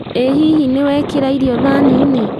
ĩ hihi nĩwekĩra irio thani-inĩ